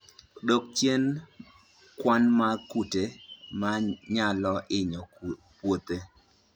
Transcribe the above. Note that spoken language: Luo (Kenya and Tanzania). Dwok chien kwan mag kute manyalo hinyo puothe